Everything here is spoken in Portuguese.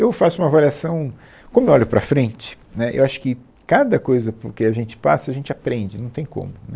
Eu faço uma avaliação, como eu olho para a frente, né, eu acho que cada coisa por que a gente passa, a gente aprende, não tem como, né